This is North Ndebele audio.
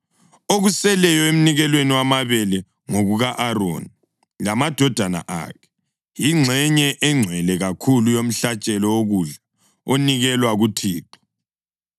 Okuseleyo emnikelweni wamabele ngokuka-Aroni lamadodana akhe, yingxenye engcwele kakhulu yomhlatshelo wokudla onikelwa kuThixo.